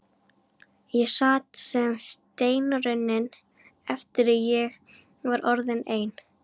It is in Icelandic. Ég sat sem steinrunnin eftir að ég var orðin ein.